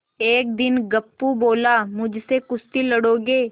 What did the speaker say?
एक दिन गप्पू बोला मुझसे कुश्ती लड़ोगे